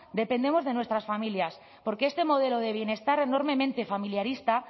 dependemos de nuestras familias porque este modelo de bienestar enormemente familiarista